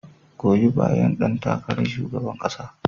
Goyi bayan ɗan takarar shugaban kasa.